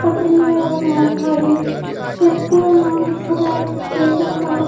पटरी है और यहा खाली शेखपुरा नाम लिखा हुआ है स्टेशन का।